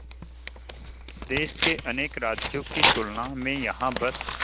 देश के अनेक राज्यों की तुलना में यहाँ बस